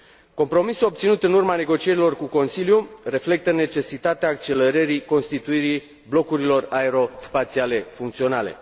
Compromisul obținut în urma negocierilor cu Consiliul reflectă necesitatea accelerării constituirii blocurilor aero spațiale funcționale.